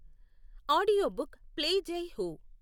Audio book play Jai Ho.